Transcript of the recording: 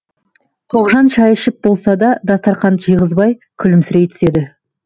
тоғжан шай ішіліп болса да дастарқанды жиғызбай күлімсірей түседі